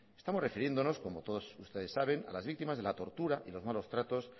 estamos refiriéndonos como todos ustedes saben a las víctimas de la tortura y los malos tratos